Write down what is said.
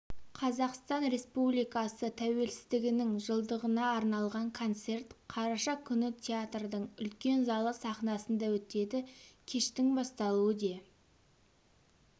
қазақстан республикасы тәуелсіздігінің жылдығына арналған концерт қараша күні театрдың үлкен залы сахнасында өтеді кештің басталуы де